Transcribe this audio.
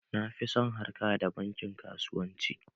Na fi son harka da bankin kasuwanci.